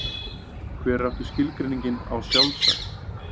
Hver er aftur skilgreiningin á sjálfsagt?